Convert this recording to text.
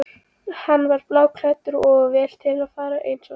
Hann var bláklæddur og vel til fara eins og venjulega.